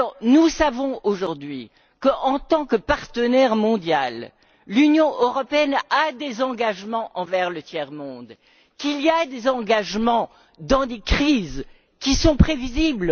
Nous savons aujourd'hui qu'en tant que partenaire mondial, l'Union européenne a des engagements envers le tiers monde, qu'il y a des engagements dans des crises qui sont prévisibles.